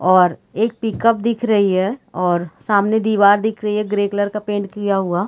और एक pickup दिख रही है और सामने दिवार दिख रही है ग्रे कलर का पेंट किया हुआ।